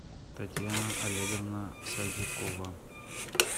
татьяна олеговна садикова